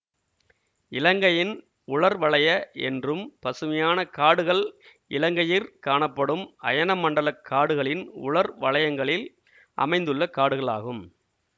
இலங்கையின் உலர்வலய என்றும் பசுமையான காடுகள் இலங்கையிற் காணப்படும் அயன மண்டல காடுகளின் உலர் வலயங்களில் அமைந்துள்ள காடுகளாகும்